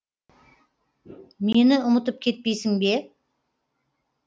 мені ұмытып кетпейсің бе